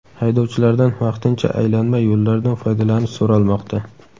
Haydovchilardan vaqtincha aylanma yo‘llardan foydalanish so‘ralmoqda.